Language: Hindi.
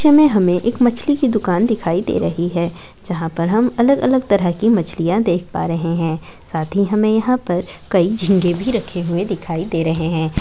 इस चित्र मे हमे एक मछली की दुकान दिखाई दे रही है जहा पर हम अलग अलग तरहा की मछलिया देख पा रहे है साथ ही हमे यहा पर कही झींगे भी रखी हुई दिखाई दे रहे है।